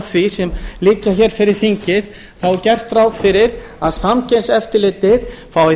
því sem liggja hér fyrir þingi er gert ráð fyrir að samkeppniseftirlitið fái